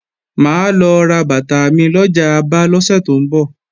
Mà á lọ ra bàtà mi lọjà Aba lọ́sẹ̀ tó ń bọ̀